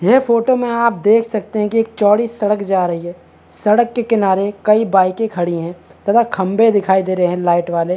ये फोटो में आप देख सकते है की एक चौड़ी सड़क जा रही है सड़क के किनारे कई बाइके खड़ी है तथा खम्भे दिखाई दे रहे है लाइट वाले --